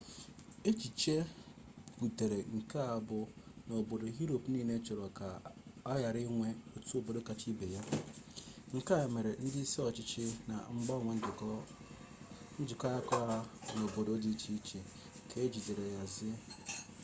echiche butere nke a bụ na obodo yuropu niile chọrọ ka a ghara inwe otu obodo kacha ibe ya ike nke a mere ndị isi ọchịchị na-agbanwe njikọ aka ha n'obodo dị iche iche ka ejigide nhazi